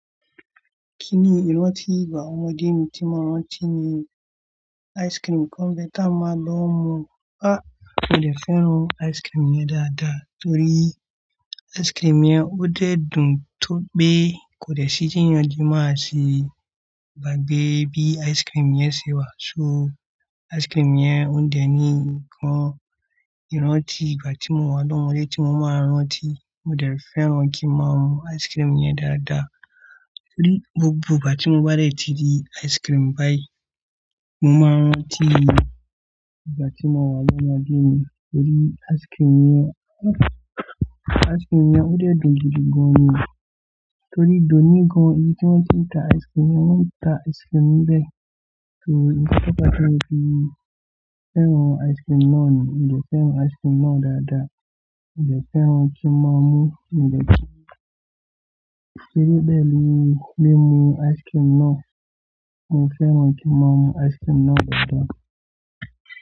Kí ni ìrántí ìgbà ọmọdé mi tí mo máa ń ráńtí ni? Áìsikirimù kan ń bẹ tá a máa lọ ń mú. A! Mi ò lè fẹ́ràn áìsikirimù yẹn dáadáa torí áìsikirimù yẹn ó dẹ́ dun tó pé kò lè ṣí bí ènìyàn ṣe máa ṣe bàgbé bí áìsikirimù yẹn ṣe wà. So áìsikirimù yẹn ò dẹ́ ni kan ìrántí ìgbà tí mo wà lọ́mọdé tí mo máa ń ráńtí. Mo dẹ̀ fẹ́ràn kí máa mu áìsikirimù yẹn dáadáa torí gbogbo ìgbà tí mo bá dẹ̀ ti jẹ áìsikirimù báyìí, mo máa ń ráńtí ìgbà tí mo wà lọ́mọdé mi torí áìsikirimù yẹn, áìsikirimù yẹn ó dẹ́ dun jù ni gan ni. Torí dòní gan ibi tí wọ́n ti ń ta áìsikirimù yẹn, wọ́n ń ta áìsikirimù bẹ́ẹ̀. So kíkọ́ bá ti wá ti fẹ́ràn áìsikirimù náà ni. Mi ò dẹ̀ fẹ́ràn áìsikirimù náà dáadáa. Mo dẹ̀ fẹ́ràn kí ń màá mú, mi ò tẹ̀ kí-- torí bẹ́ẹ̀ mo lè lè mu áìsikirimù náà. Mo fẹ́ràn kí n màá mu áìsikirimù náà dáadáa.